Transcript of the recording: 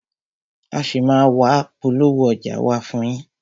A ṣì máa a wá polówó ọjà wa fún yín.